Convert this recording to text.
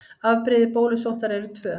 Afbrigði bólusóttar eru tvö.